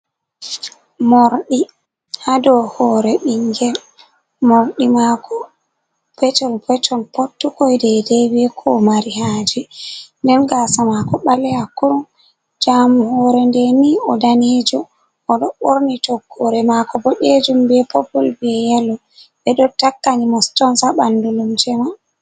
Morɗi ha dou hoore bingel. Morɗi maako petol-peton, pottuko dedei be ko o mari haaje. Nden gaasa mako ɓaleha kurum. Jamu hore nde ni o danejo, o ɗo ɓorni toggore maako boɗejum, be popul, be yelo. Ɓe ɗo takkani mo stons haa ɓandu lumse man.